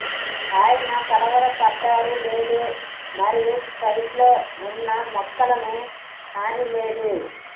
ఆయన కలవరపడ్డారు లేదు మరియు సైట్ లో ఉన్న మొక్కలను హాని లేదు